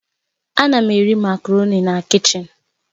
Ana m eri makaroni na kichin